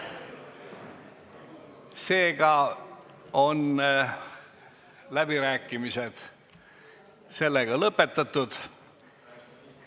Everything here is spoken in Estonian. Seega on läbirääkimised lõpetatud.